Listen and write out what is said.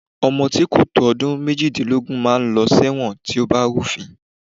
Ọmọ tí kò tó ọmọ ọdún méjìdínlógún máa ń lọ ẹ̀wọ̀n tí ó bá rúfin